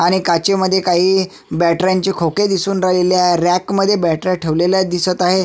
आणि काचे मध्ये काही बॅटऱ्यांचे खोके दिसून राहिलेले आहे रॅक मध्ये बॅटऱ्या ठेवलेल्या दिसत आहे.